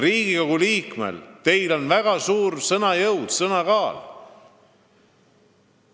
Riigikogu liikme sõnal on väga suur kaal.